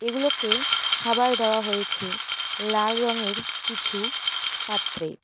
এগুলোকে খাবার দেওয়া হয়েছে লাল রঙের কিছু পাত্রে।